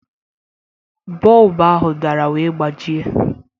Bọlbụ ahụ dara wee gbajie